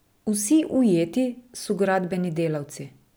Vsi ujeti so gradbeni delavci.